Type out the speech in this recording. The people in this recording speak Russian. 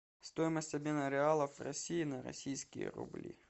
стоимость обмена реалов в россии на российские рубли